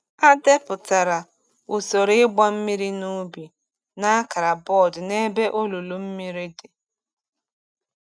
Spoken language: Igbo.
A depụtara usoro ịgba mmiri n’ubi n’akara bọọdụ n’ebe olulu mmiri dị.